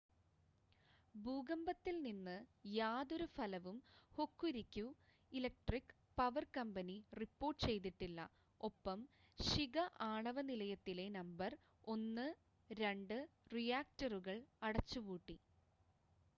ഭൂകമ്പത്തിൽ നിന്ന് യാതൊരു ഫലവും Hokuriku electric power company report ചെയ്തിട്ടില്ല ഒപ്പം ശിക ആണവ നിലയത്തിലെ നമ്പർ 1 2 റിയാക്ടറുകൾ അടച്ചുപൂട്ടി